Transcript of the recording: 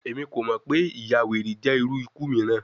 Emi ko mọ pe iyawere jẹ iru iku miiran